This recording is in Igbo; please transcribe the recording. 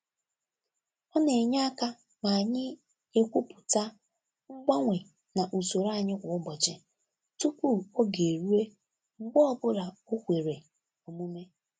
Ọ na-enye aka ma anyị ekwupụta mgbanwe na usoro anyị kwa ụbọchị tupu oge eruo mgbe ọ bụla o kwere omume.